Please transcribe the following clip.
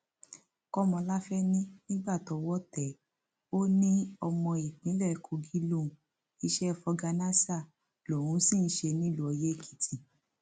kọmọláfẹ ní nígbà tọwọ tẹ ẹ ó ní ọmọ ìpínlẹ kogi lòún iṣẹ fọgànàṣá lòún sì ń ṣe nílùú oyèèkìtì